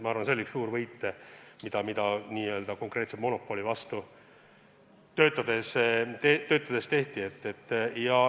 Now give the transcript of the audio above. Ma arvan, et see on üks suur võit, mis konkreetse monopoli vastu tegutsedes on saavutatud.